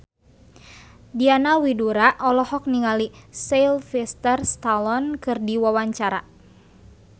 Diana Widoera olohok ningali Sylvester Stallone keur diwawancara